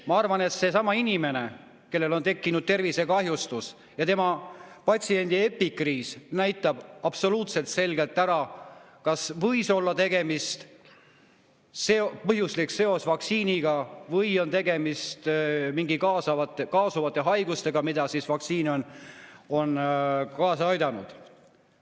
Ma arvan, et see inimene, kellel on tekkinud tervisekahjustus, siis tema epikriis näitab absoluutselt selgelt ära, kas võis olla põhjuslik seos vaktsiiniga või on tegemist mingite kaasuvate haigustega, mille vaktsiin on kaasa aidanud.